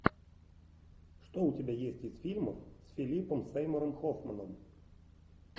что у тебя есть из фильмов с филиппом сеймуром хоффманом